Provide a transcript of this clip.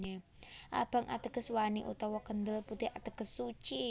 Abang ateges wani utawa kendel putih ateges suci